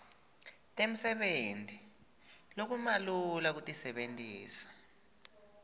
temsebenti lokumalula kutisebentisa